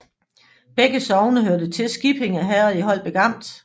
Begge sogne hørte til Skippinge Herred i Holbæk Amt